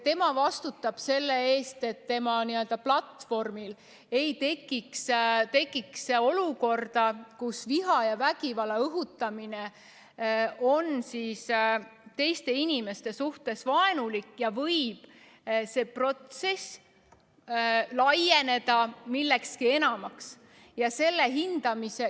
Tema vastutab selle eest, et tema platvormil ei tekiks olukorda, kus õhutatakse viha ja vägivalda ning ollakse teiste inimeste suhtes vaenulik, mille tagajärjel see protsess võib laieneda millekski enamaks.